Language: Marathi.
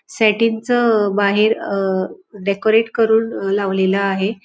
सेटिंग च अह बाहेर अह डेकोरेट करून अ लावलेला आहे.